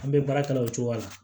An bɛ baara kɛ o cogo la